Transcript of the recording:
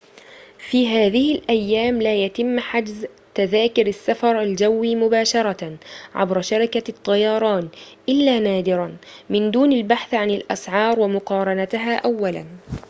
في هذه الأيام لا يتم حجز تذاكر السّفر الجوي مباشرةً عبر شركة الطّيران إلّا نادراً من دون البحث عن الأسعار ومقارنتها أولاً